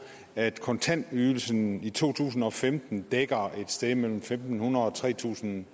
at kontantydelsen i to tusind og femten dækker et sted mellem fem hundrede og tre tusind